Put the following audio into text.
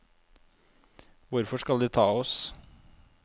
Hvorfor skal de ta oss?